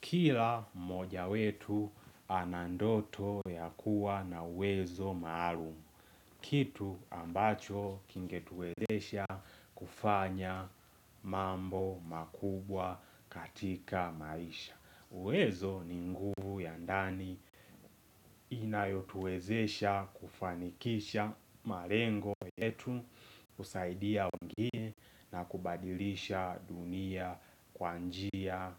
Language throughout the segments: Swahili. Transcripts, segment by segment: Kila mmoja wetu anandoto ya kuwa na uwezo maalumu. Kitu ambacho kingetuezesha kufanya mambo makubwa katika maisha. Uwezo ni nguvu ya ndani inayotuezesha kufanikisha malengo yetu, kusaidia wengine na kubadilisha dunia kwa njia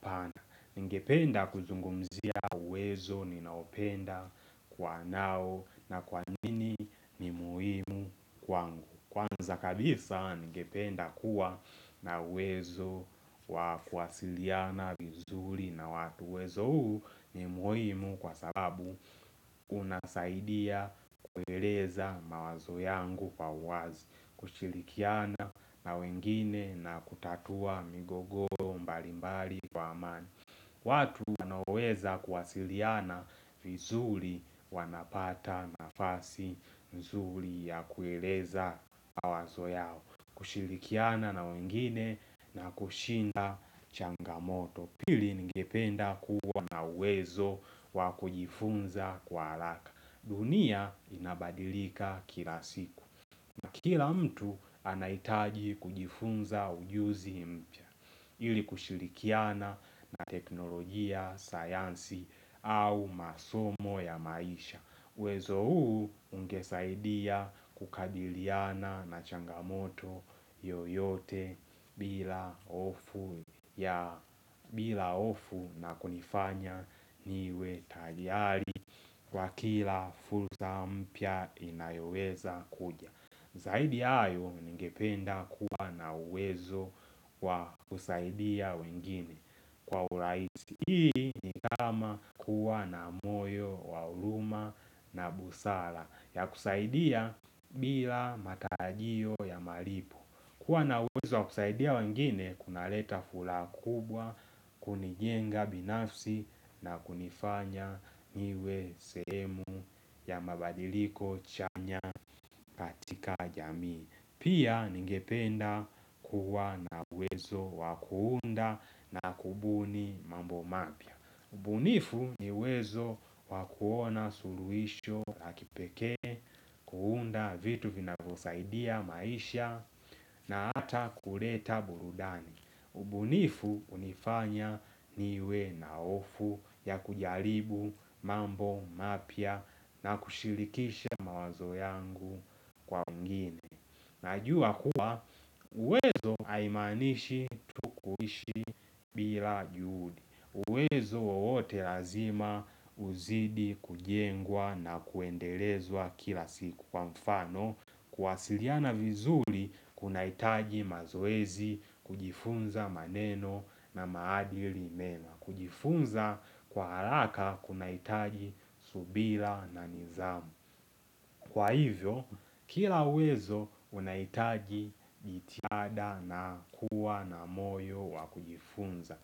pana. Ningependa kuzungumzia uwezo ninaopenda kwa nao na kwa nini ni muhimu kwangu. Kwanza kabisa ningependa kuwa na uwezo wa kuwasiliana vizuli na watu uwezo huu ni muhimu kwa sababu kunasaidia kueleza mawazo yangu kwa uwazi kushilikiana na wengine na kutatua migogoro mbali mbali kwa amani watu wanaoweza kuwasiliana vizuli wanapata nafasi mzuli ya kueleza mawazo yao, kushilikiana na wengine na kushinda changamoto. Pili ningependa kuwa na uwezo wa kujifunza kwa halaka. Dunia inabadilika kila siku. Kila mtu anahitaji kujifunza ujuzi mpya ili kushilikiana na teknolojia, sayansi au masomo ya maisha. Wezo huu ungesaidia kukadiliyana na changamoto yoyote bila bila hofu na kunifanya niwe tayali kwa kila fulza mpya inayoweza kuja. Zaidi hayo ningependa kuwa na uwezo wa kusaidia wengine kwa urahisi. Hii nikama kuwa na moyo wa huluma na busala ya kusaidia bila matarajio ya malipo. Kuwa na uwezo wa kusaidia wengine kunaleta fulaha kubwa kunijenga binafsi na kunifanya niwe sehemu ya mabadiliko chanya katika jamii. Pia, ningependa kuwa na uwezo wakuunda na kubuni mambo mapya. Ubunifu niuwezo wakuona suluisho la kipekee, kuunda vitu vinavosaidia maisha na hata kuleta burudani. Ubunifu hunifanya niwe na hofu ya kujaribu mambo mapya na kushilikisha mawazo yangu kwa wengine. Najua kuwa, uwezo haimaanishi kuishi bila juhudi. Uwezo wowote lazima uzidi kujengwa na kuendelezwa kila siku kwa mfano, Kuasiliana vizuli kuna hitaji mazoezi kujifunza maneno na maadili mema. Kujifunza kwa haraka kuna hitaji subila na nizamu. Kwa hivyo, kila uwezo unahitagi jitiada na kuwa na moyo wa kujifunza.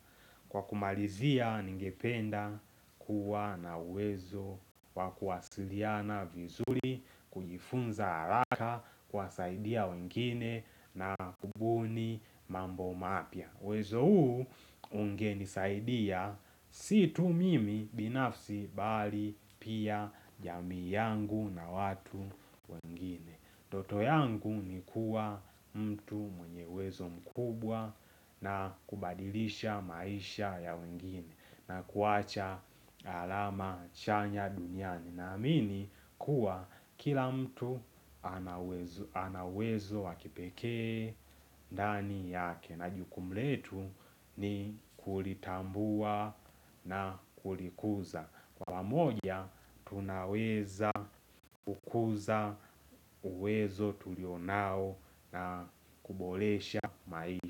Kwa kumalizia, ningependa kuwa na uwezo wa kuwasiliana vizuri, kujifunza halaka, kuwasaidia wengine na kubuni mambo mapya. Wezo huu ungenisaidia si tu mimi binafsi bali pia jamii yangu na watu wengine Ndoto yangu ni kuwa mtu mwenye uwezo mkubwa na kubadilisha maisha ya wengine, na kuwacha alama chanya duniani. Naamini kuwa kila mtu ana uwezo anauwezo wakipekee ndani yake. Na jukumu letu ni kulitambua na kulikuza kwa moja, tunaweza kukuza uwezo tulionao na kubolesha maisha.